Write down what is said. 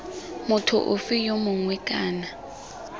motho ofe yo mongwe kana